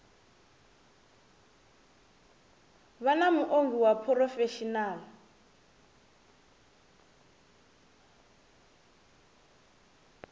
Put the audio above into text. vha na muongi wa phurofesheni